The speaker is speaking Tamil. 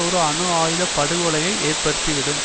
ஒரு அணு ஆயுத படுகொலையை ஏற்படுத்தி விடும்